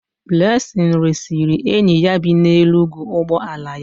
Blessing resịrị enyi ya bi n'Enugwu ụgbọ ala ya.